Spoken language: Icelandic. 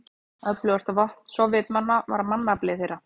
Öflugasta vopn Sovétmanna var mannafli þeirra.